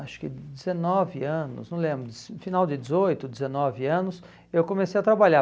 acho que dezenove anos, não lembro, final de dezoito, dezenove anos, eu comecei a trabalhar.